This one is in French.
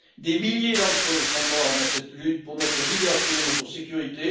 Des milliers d'entre eux sont morts dans cette lutte pour notre liberté et notre sécurité.